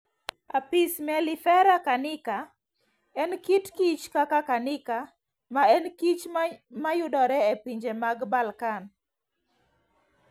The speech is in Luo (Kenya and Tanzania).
Apis mellifera carnica: En kit kich kaka Carnica, ma en kich ma yudore e pinje mag Balkan.